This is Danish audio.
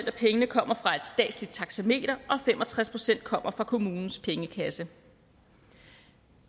af pengene kommer fra et statsligt taxameter og fem og tres procent kommer fra kommunens pengekasse